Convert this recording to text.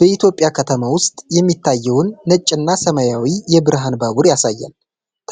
በኢትዮጵያ ከተማ ውስጥ የሚታየውን ነጭና ሰማያዊ የብርሃን ባቡር ያሳያል።